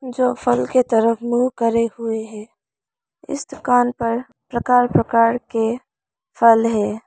जो फल के तरफ मुंह करे हुए हैं इस दुकान पर प्रकार प्रकार के फल है।